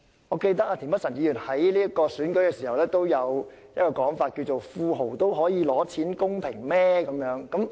我記得田北辰議員在選舉時亦有一種說法，就是若富豪也可以領取金錢資助，是否公平？